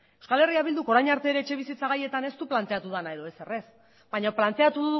eh bilduk orain arte ere etxebizitza gaietan ez du planteatu dena edo ezer ez baina planteatu